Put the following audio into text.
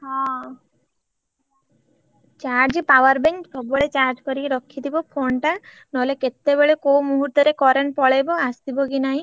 ହଁ charge powerbank ସବୁବେଳେ charge କରିକି ରଖିଥିବ phone ଟା ନହେଲେ କେତେବେଳେ କୋଉ ମୁହୂର୍ତରେ current ପଳେଇବ ଆସିବ କି ନାହିଁ।